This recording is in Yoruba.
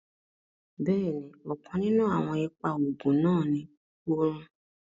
Bẹ́ẹ̀ni, ọ̀kàn ninún awọn ìpà oogun náà ní orun